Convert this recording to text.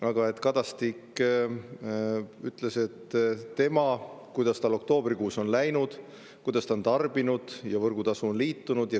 Aga Kadastik, kuidas tal oktoobrikuus on läinud, kui palju ta on tarbinud, on võrgutasuga liitunud.